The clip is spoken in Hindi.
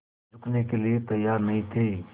झुकने के लिए तैयार नहीं थे